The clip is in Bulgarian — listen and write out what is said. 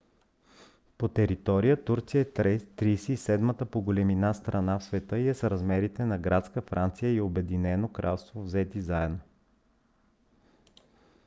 по територия турция е 37-ата по големина страна в света и е с размерите на градска франция и обединеното кралство взети заедно